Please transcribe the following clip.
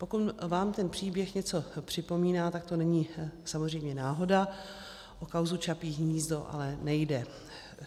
Pokud vám ten příběh něco připomíná, tak to není samozřejmě náhoda, o kauzu Čapí hnízdo ale nejde.